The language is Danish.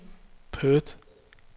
Perth